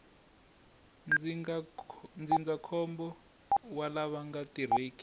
ndzindzakhombo wa lava nga tirheki